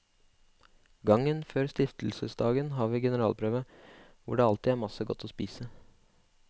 Gangen før stiftelsesdagen har vi generalprøve, hvor det alltid er masse godt å spise.